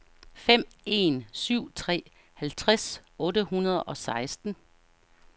fem en syv tre halvtreds otte hundrede og seksten